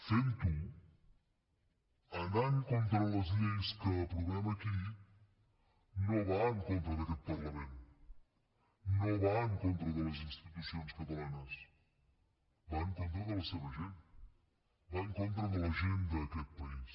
fent ho anant contra les lleis que aprovem aquí no va en contra d’aquest parlament no va en contra de les institucions catalanes va en contra de la seva gent va en contra de la gent d’aquest país